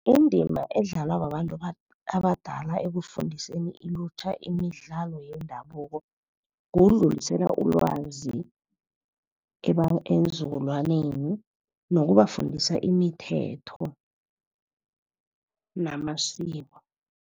Indima edlalwa babantu abadala ekufundiseni ilutjha imidlalo yendabuko, kudlulisela ulwazi eenzukulwaneni ngokubafundisa imithetho namasiko.